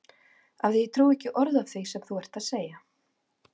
Af því að ég trúi ekki orði af því sem þú ert að segja.